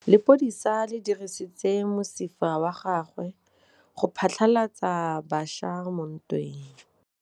Lepodisa le dirisitse mosifa wa gagwe go phatlalatsa batšha mo ntweng.